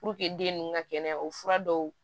den ninnu ka kɛnɛya o fura dɔw